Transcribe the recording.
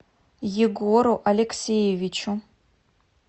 егору алексеевичу